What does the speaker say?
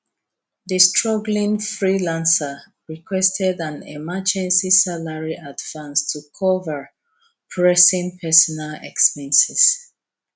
di struggling freelancer requested an emergency salary advance to cover pressing personal expenses